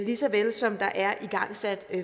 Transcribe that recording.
lige så vel som der er igangsat